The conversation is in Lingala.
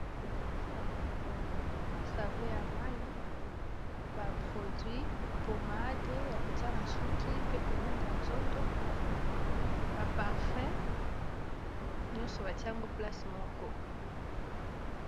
Ba mafuta kopakola savon ya mayi ba produit pomade ya kotia na suki pe pomade ya nzoto ba parfum nyonso batiango place moko.